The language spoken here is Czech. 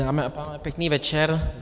Dámy a pánové, pěkný večer.